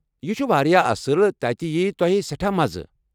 یہِ چھُ واریاہ اصٕل، تتہِ ییٚہِ تۄیہِ سٮ۪ٹھاہ مَزٕ۔